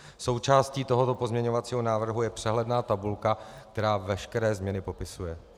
Součástí tohoto pozměňovacího návrhu je přehledná tabulka, která veškeré změny popisuje.